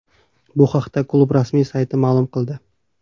Bu haqda klub rasmiy sayti ma’lum qildi .